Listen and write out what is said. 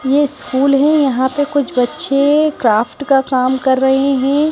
ये स्कूल है यहां पे कुछ बच्चे क्राफ्ट का काम कर रहे हैं।